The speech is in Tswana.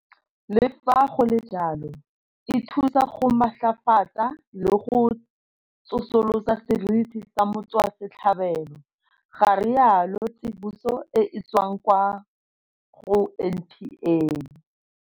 Le fa go le jalo, e thusa go matlafatsa le go tsosolosa seriti sa motswasetlhabelo, ga rialo tsiboso e e tswang kwa go NPA.